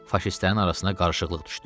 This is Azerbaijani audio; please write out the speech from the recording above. Faşistlərin arasına qarışıqlıq düşdü.